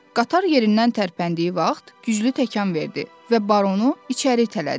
Qatar yerindən tərpəndiyi vaxt güclü təkan verdi və baronu içəri itələdi.